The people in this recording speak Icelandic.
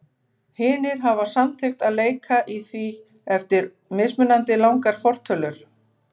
Hinir hafa samþykkt að leika í því eftir mismunandi langar fortölur.